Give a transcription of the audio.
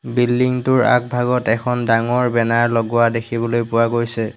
Building টোৰ আগভাগত এখন ডাঙৰ বেনাৰ লগোৱা দেখিবলৈ পোৱা গৈছে।